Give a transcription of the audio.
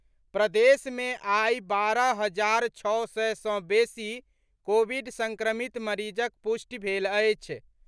प्रदेश मे आई बारह हजार छओ सय सँ बेसी कोविड संक्रमित मरीजक पुष्टि भेल अछि।